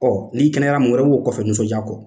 Ɔ n'i kɛnɛyala mun wɛrɛ b'o kɔfɛ nisɔndiya kɔ?